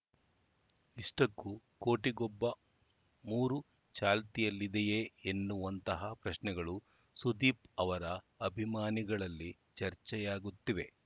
ಇಷ್ಟಕ್ಕೂ ಕೋಟಿಗೊಬ್ಬ ಮೂರು ಚಾಲ್ತಿಯಲ್ಲಿದೆಯೇ ಎನ್ನುವಂತಹ ಪ್ರಶ್ನೆಗಳು ಸುದೀಪ್‌ ಅವರ ಅಭಿಮಾನಿಗಳಲ್ಲಿ ಚರ್ಚೆಯಾಗುತ್ತಿವೆ